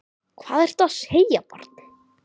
Hvað ertu að segja barn?